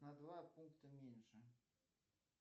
на два пункта меньше